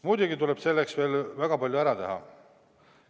Muidugi tuleb selleks veel väga palju ära teha.